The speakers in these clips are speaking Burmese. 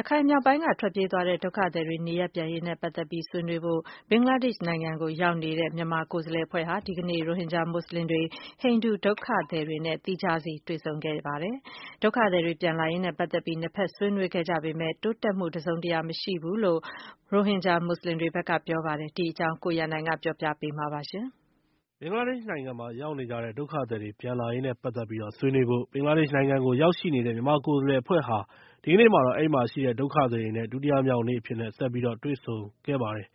ရခိုင်မြောက်ပိုင်းကထွက်ပြေးသွားတဲ့ ဒုက္ခသည်တွေနေရပ်ပြန်ရေး နဲ့ ပတ်သက်ပြီး ဆွေးနွေးဖို့ ဘင်္ဂလားဒေ့ရှ်နိုင်ငံကိုရောက်ရှိနေတဲ့ မြန်မာကိုယ်စားလှယ်အဖွဲ့ဟာ ဒီကနေ့မှာတော့ ရိုဟင်ဂျာမွတ်ဆလင်တွေ နဲ့ ဟိန္ဒူဒုက္ခသည်တွေနဲ့ သီးခြားတွေ့ဆုံခဲ့ကြပါတယ်။ ဒုက္ခသည်တွေ ပြန်လာရေး နဲ့ ပတ်သက်ပြီး ၂ ဘက်ဆွေးနွေးခဲ့ကြပေမယ့် တိုးတက်မှုတစုံတရာမရှိဘူးလို့ ရိုဟင်ဂျာမွတ်ဆလင်တွေဘက်က ပြောပါတယ်။ ဒီအကြောင်းနဲ့ ပတ်သက်ပြီး ကိုရန်နိုင်က ပြောပြပေးမှာဖြစ်ပါတယ်။ ဘင်္ဂလာဒေ့ရှ်နိုင်ငံမှာရောက်နေကြတဲ့ဒုက္ခသည်တွေ ပြန်လာရေးနဲ့ ပတ်သက်ပြီး ဆွေးနွေးဖို့ ဘင်္ဂလားဒေ့ရှ်နိုင်ငံကိုရောက်ရှိနေတဲ့ မြန်မာကိုယ်စားလှယ်အဖွဲ့ဟာ ဒီကနေ့မှာတော့ အဲဒီမှာရှိတဲ့ဒုက္ခသည်တွေ နဲ့ ဒုတိယမြောက်နေ့အဖြစ်နဲ့ ဆက်ပြီးတော့ တွေ့ဆုံခဲ့ပါတယ်။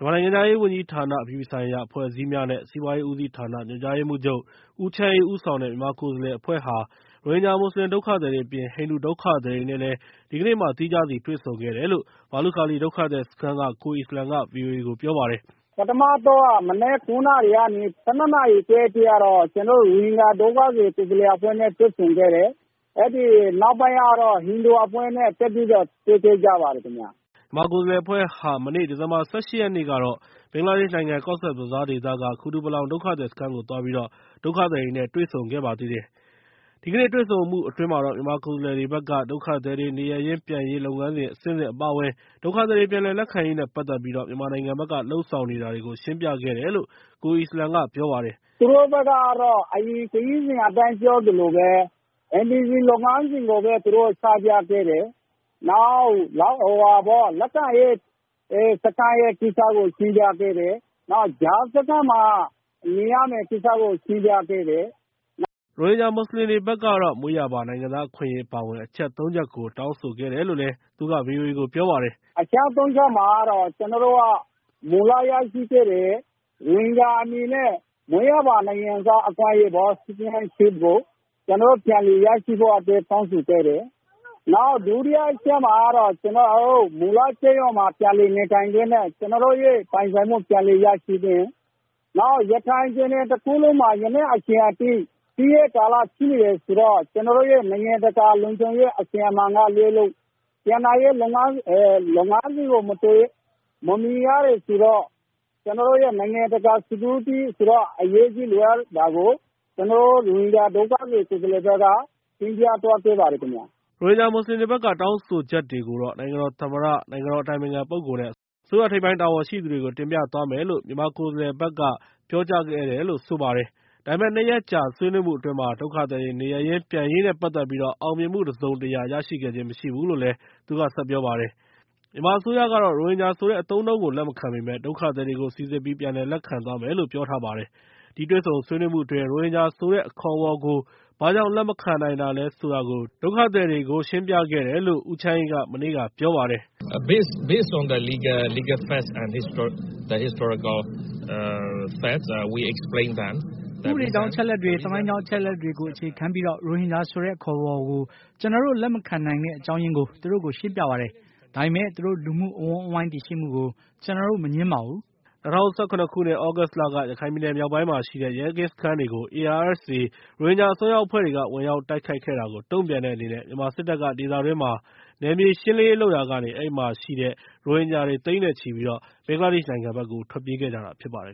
မြန်မာနိုင်ငံခြားရေးဝန်ကြီးဌာန အပြည်ပြည်ဆိုင်ရာ အဖွဲ့အစည်းများနဲ့ စီးပွားရေး ဦးစီးဌာန ညွှန်ကြားရေးမှူးချုပ် ဦးချမ်းအေးဦးဆောင်တဲ့ မြန်မာကိုယ်စားလှယ်အဖွဲ့ဟာ ရိုဟင်ဂျာ မွတ်စလင်ဒုက္ခသည်တွေ၊ ဟိန္ဒူဒုက္ခသည်တွေနဲ့လည်း ဒီကနေ့ သီးခြားစီတွေ့ဆုံခဲ့တယ်လု့ိ ဘာလုခါလီ ဒုက္ခသည်စခန်းက ကိုအီစလမ်က ဗွီအိုအေကို ပြောပါတယ်။ “မနက် ၉ နာရီကနေ ၁၂ နာရီခွဲအထိကတော့ ကျနော်တို့ ရိုဟင်ဂျာဒုက္ခသည် ကိုယ်စားလှယ်အဖွဲ့နဲ့ တွေ့ဆုံခဲ့တယ်။ အဲဒီနောက်ပိုင်းကတော့ ဟိန္ဒူအဖွဲ့နဲ့ ဆက်ပြီးတော့ တွေ့ခဲ့ပါတယ်ခင်ဗျ။” မြန်မာကိုယ်စားလှယ် အဖွဲ့ဟာ မနေ့ ဒီဇင်ဘာလ ၁၈ ရက်နေ့က ဘင်္ဂလားဒေ့ရှ်နိုင်ငံ၊ Cox’s Bazar ဒေသက ကူတူပါလောင် ဒုက္ခသည် စခန်းကို သွားပြီး ဒုက္ခသည်တွေနဲ့ တွေ့ဆုံဆွေးနွေး ခဲ့ပါသေးတယ်။ ဒီကနေ့တွေ့ဆုံဆွေးနွေးမှုအတွင်း မြန်မာကိုယ်စားလှယ်တွေဘက်က ဒုက္ခသည်တွေ နေရပ်ရင်း ပြန်ရေးလုပ်ငန်းစဉ်အဆင့်ဆင့် အပါအဝင် ဒုက္ခသည်တွေပြန်လည်လက်ခံရေးနဲ့ ပတ်သက်ပြီး မြန်မာနိုင်ငံဘက်ကလုပ်ဆောင်နေတာတွေကို ရှင်းပြခဲ့တယ်လို့ ကိုအီစလမ် ပြောပါတယ်။ “သူတို့ဘက်ကတော့ အရင်ခရီးစဉ်အတိုင်းပြောသလိုပဲ NVC လုပ်ငန်းစဉ်ကိုပဲ ချပြတယ်၊ နောက် လက်ခံရေးစခန်း ကိစ္စကို ရှင်းပြပေးတယ်၊ နောက်ပြီး ကြားစခန်းမှာ နေရမယ့်ကိစ္စကို ရှင်းပြတယ်။” ရိုဟင်ဂျာမွတ်စလင်တွေဘက်ကတော့ မွေးရာပါနိုင်ငံသားအခွင့်အရေး အပါအဝင် အချက် ၃ ချက်ကို တောင်းဆိုခဲ့တယ်လို့ သူကပြောပါတယ်။ “အချက် ၃ ချက်မှာကတော့ ကျနော်တို့က မူလကတည်းကရရှိတဲ့ ရိုဟင်ဂျာအနေနဲ့ မွေးရာပါ နိုင်ငံသား အခွင့်အရေးကို ကျနော်တို့ပြန်လည်ရရှိဖို့အတွက် တောင်းဆိုခဲ့တယ်။ နောက်ဒုတိယအချက်မှာတော့ ကျနော်တို့ မူလကျေးရွာမှာ ပြန်လည်နေထိုင်ခွင့်နဲ့ ကျနော်တို့ရဲ့ ပိုင်ဆိုင်မှု ပြန်လည်ရရှိခွင့် ၊ နောက် ရခိုင်ပြည်နယ်တခုလုံးမှာ ယနေ့အထိ စစ်ဖြစ်နေတယ်ဆိုတော့ ကျနော်တို့ အတွက် နိုင်ငံတကာ လုံခြုံရေးအစီအမံတွေ လိုအပ်တာကို ကျနော်တို့ ရိုဟင်ဂျာ ဒုက္ခသည် ကိုယ်စားလှယ်တွေဘက်က တင်ပြသွားခဲ့ပါတယ်ခင်ဗျ။” ရိုဟင်ဂျာမွတ်ဆလင်တွေဘက်က တောင်းဆိုချက်တွေကို နိုင်ငံတော်သမ္မတ၊ နိုင်ငံတော်အတိုင်ပင်ခ ပုဂ္ဂိုလ် နဲ့ အစိုးရ ထိပ်ပိုင်းတာဝန်ရှိသူတွေ တင်ပြသွားမယ်လို့ မြန်မာဘက်ကပြောကြားခဲ့တယ်လို့ ဆိုပါတယ်။ ဒါပေမဲ့ ၂ ရက်ကြာတွေ့ဆုံဆွေးနွေးမှုအတွင်း ဒုက္ခသည်တွေ နေရပ် ပြန်ရေးနဲ့ ပတ်သက်ပြီး အောင်မြင်မှုတစုံတရာ ရရှိခဲ့ခြင်းမရှိဘူးလို့သူကပြောပါတယ်။ မြန်မာအစိုးရကတော့ ရိုဟင်ဂျာဆိုတဲ့အသုံးအနှုန်းကို လက်မခံပေမယ့် ဒုက္ခသည်တွေကိုတော့ စီစစ်ပြီး ပြန်လည်လက်ခံသွားမယ်လို့ ပြောထားပါတယ်။ ဒီတွေ့ဆုံမှုအတွင်း ရိုဟင်ဂျာဆိုတဲ့ အခေါ်အဝေါ်ကို ဘာ့ကြောင့် လက်မခံနိုင်တာလဲ ဆိုတာကို ဒုက္ခသည်တွေကို ရှင်းပြခဲ့တယ်လို့ ဦးချမ်းအေးက မနေ့က ပြောပါတယ်။ “ဥပဒေကြောင်း အချက်အလက်တွေ၊ သမိုင်းကြောင်း အချက်အလက်တွေကို အခြေခံပြီး ရိုဟင်ဂျာဆိုတဲ့ အခေါ်အဝေါ်ကို ကျနော်တို့ လက်မခံနိုင်တဲ့ အကြောင်းရင်းကို သူတို့ကိုရှင်းပြပါတယ်။ ဒါပေမယ့် သူတို့ လူမှုအဝန်းအဝိုင်း တည်ရှိမှုကို ကျနော်တို့ မငြင်းပါဘူး” ၂၀၁၇ ခုနှစ် သြဂုတ်လက ရခိုင်ပြည်နယ်မြောက်ပိုင်းမှာရှိတဲ့ ရဲကင်းစခန်းတွေကို ARSA ရိုဟင်ဂျာ အစွန်းရောက်အဖွဲ့တွေက ဝင်ရောက် တိုက်ခိုက်ခဲ့တာကို တုံ့ပြန်တဲ့အနေနဲ့ မြန်မာစစ်တပ်က ဒေသတွင်းမှာ နယ်မြေရှင်းလင်းရေးလုပ်ရာကနေ အဲဒီမှာရှိတဲ့ ရိုဟင်ဂျာတွေ သိန်းနဲ့ချီပြီး ဘင်္ဂလားဒေ့ရှ်နိုင်ငံကို ထွက်ပြေးခဲ့ကြတာဖြစ်ပါတယ်